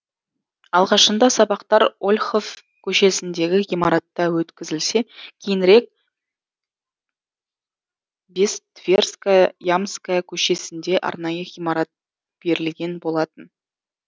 алғашында сабақтар ольхов көшесіндегі ғимаратта өткізілсе кейінірек бес тверьская ямская көшесінде арнайы ғимарат берілген болатын